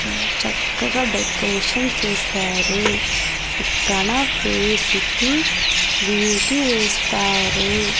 చక్కగా డెకరేషన్ చేశారు ఇక్కడ ఫేస్ కి బ్యూటీ వేస్తారు .